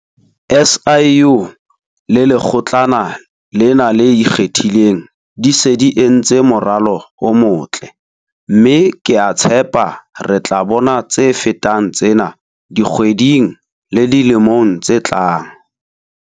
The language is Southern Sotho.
SIU le Lekgotlana lena le Ikgethileng di se di entse moralo o motle, mme ke a tshepa re tla bona tse fetang tsena dikgweding le dilemong tse tlang.